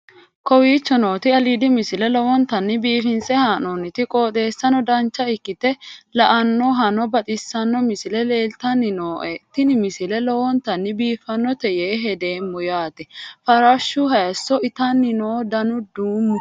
kowicho nooti aliidi misile lowonta biifinse haa'noonniti qooxeessano dancha ikkite la'annohano baxissanno misile leeltanni nooe ini misile lowonta biifffinnote yee hedeemmo yaate farashshu hayiso itanni no dana duumu